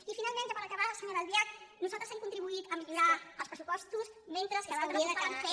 i finalment ja per acabar senyora albiach nosaltres hem contribuït a millorar els pressupostos mentre que altres estaven fent